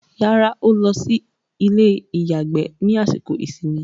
Rárá, ó lọ sí ilé-ìyàgbẹ́ ní àsìkò ìsinmi.